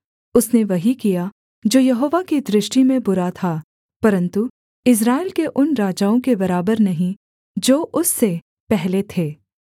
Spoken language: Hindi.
उसने वही किया जो यहोवा की दृष्टि में बुरा था परन्तु इस्राएल के उन राजाओं के बराबर नहीं जो उससे पहले थे